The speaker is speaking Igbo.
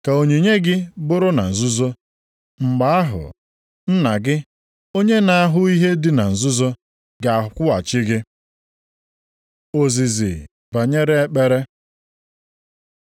Ka onyinye gị bụrụ na nzuzo. Mgbe ahụ, Nna gị, onye na-ahụ ihe dị na nzuzo ga-akwụghachi gị. Ozizi banyere ekpere